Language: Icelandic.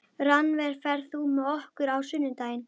Rannver, ferð þú með okkur á sunnudaginn?